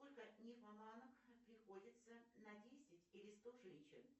сколько нимфоманок приходится на десять или сто женщин